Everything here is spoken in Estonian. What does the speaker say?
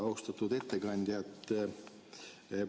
Austatud ettekandja!